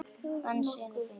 Hann synjaði beiðni minni.